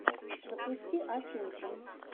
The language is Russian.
запусти афинку